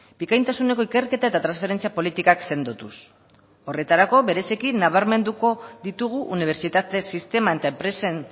bikaintasuneko ikerketa eta transferentzia politikak sendotuz horretarako bereziki nabarmenduko ditugu unibertsitate sisteman eta enpresen